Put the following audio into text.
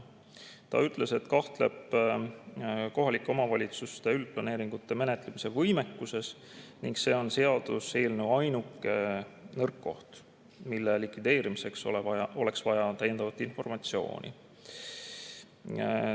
Ta ütles, et kahtleb kohalike omavalitsuste võimekuses üldplaneeringuid menetleda ning see on seaduseelnõu ainuke nõrk koht, mille likvideerimiseks oleks vaja täiendavat informatsiooni.